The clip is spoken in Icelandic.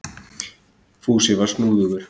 Fúsi var snúðugur.